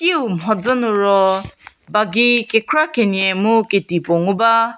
kiu mhodzü nü ro bagi kekra kenie mu keti puo ngu ba.